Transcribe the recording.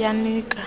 yanika